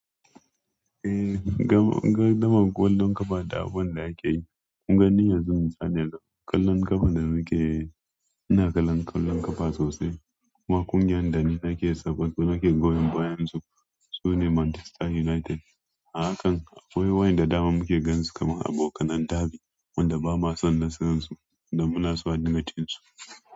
Eh, gardamar ƙwallon ƙafa da abun da ake yi, kun ga ni yanzu misali yanzu ƙwallon ƙafa da muke, ina kallon ƙwallon ƙafa sosai. Kuma kungiyan da nake goyon bayan su, sune Manchester United. Hakan akwai wayanda daman muke gan su kamar abokan derby, wanda bamu san nasaran su da muna so a dinga cin su.